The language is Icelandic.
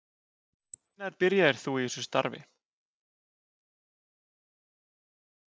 Hvenær byrjaðir þú í þessu starfi?